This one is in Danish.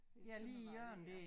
Gamle Tøndervej dér